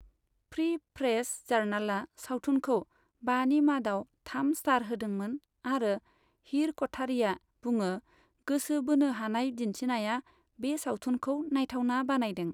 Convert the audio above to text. Free press जार्नालआ सावथुनखौ बानि मादाव थाम स्टार होदोंमोन आरो हीर क'ठारीया बुङो, गोसो बोनो हानाय दिन्थिनाया बे सावथुनखौ नायथावना बानायदों।